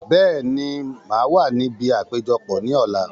Bẹ́ẹ̀ni, màá wà níbi àpéjọpọ̀ ní ọ̀la